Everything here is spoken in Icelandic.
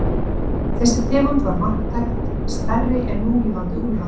Þessi tegund var marktækt stærri en núlifandi úlfar.